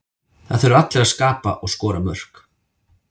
Það þurfa allir að skapa og skora mörk.